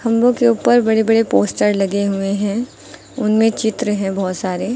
खंभों के ऊपर बड़े बड़े पोस्टर लगे हुए हैं उनमें चित्र हैं बहुत सारे।